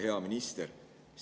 Hea minister!